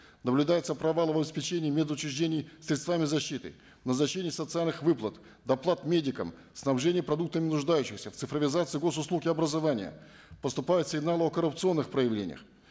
наблюдается провал в обеспечении мед учреждений средствами защиты назначение социальных выплат доплат медикам снабжение продуктами нуждающихся в цифровизация гос услуг и образования поступают сигналы о коррупционных проявлениях